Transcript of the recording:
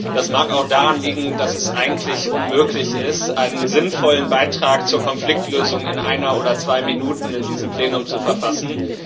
Das mag auch daran liegen, dass es eigentlich unmöglich ist, einen sinnvollen Beitrag zur Konfliktlösung in einer oder zwei Minuten in diesem Plenum zu verfassen.